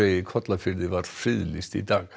í Kollafirði var friðlýst í dag